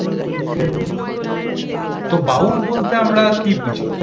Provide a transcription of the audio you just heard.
তো বাউল বলতে আমরা কি বুঝি?